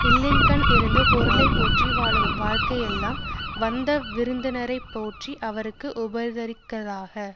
இல்லின்கண் இருந்து பொருளை போற்றி வாழும் வாழ்க்கை யெல்லாம் வந்தவிருந்தினரை போற்றி அவர்க்கு உபகரித்தற்காக